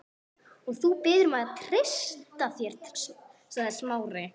Og þú biður mig um að treysta þér sagði Smári.